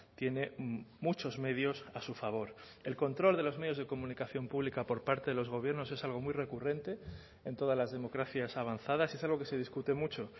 tiene muchos medios a su favor el control de los medios de comunicación pública por parte de los gobiernos es algo muy recurrente en todas las democracias avanzadas y es algo que se discute mucho